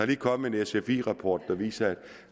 lige kommet en sfi rapport der viser